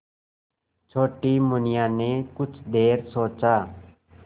छोटी मुनिया ने कुछ देर सोचा